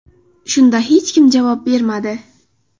Shunda hech kim javob bermadi.